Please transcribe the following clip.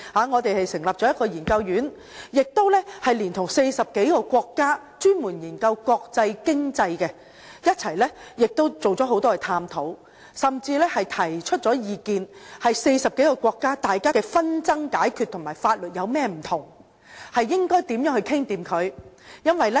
我們成立研究院，連同40多個國家專門研究國際經濟的人士進行多次探討，甚至提出意見，內容關於40多個國家的紛爭解決方法、法律差異及如何達成共識。